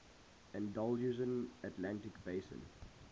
andalusian atlantic basin